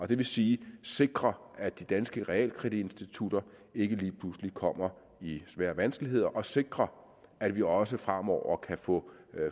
det vil sige sikre at de danske realkreditinstitutter ikke lige pludselig kommer i svære vanskeligheder og sikre at vi også fremover kan få